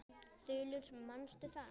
Þulur: Manstu það?